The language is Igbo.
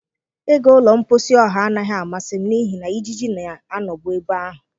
Ịga ụlọ mposi ọha anaghị amasị m n'ihi na ijiji na-anọbu ebe ahụ.